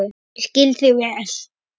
Ég skil þig vel.